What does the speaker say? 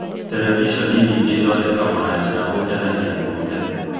terevishoni nyingĩ ithondekagwo na njĩra gũkenagia andũ othe.